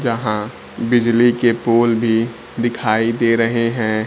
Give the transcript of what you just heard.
जहां बिजली के पोल भी दिखाई दे रहे हैं।